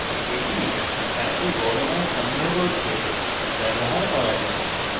এটি একটি বড় মান সংগ্রহ করতে ব্যবহার করা যাক